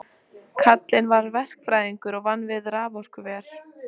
Eru þeir frá tæknideildinni búnir að athafna sig?